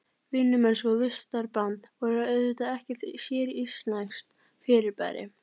Vinnumennska og vistarband voru auðvitað ekkert séríslenskt fyrirbæri.